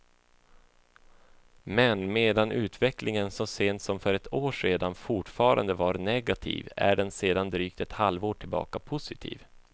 Men medan utvecklingen så sent som för ett år sedan fortfarande var negativ är den sedan drygt ett halvår tillbaka positiv.